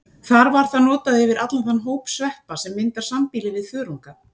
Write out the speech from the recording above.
Þar var það notað yfir allan þann hóp sveppa sem myndar sambýli við þörunga.